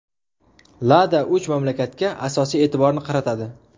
Lada uch mamlakatga asosiy e’tiborni qaratadi.